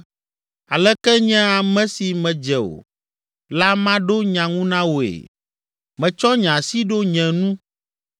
“Aleke nye ame si medze o la maɖo nya ŋu na wòe? Metsɔ nye asi ɖo nye nu.